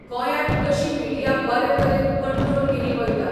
गोंयांत तशी मिडिया बरे तरेन कंट्रोल केली वयता.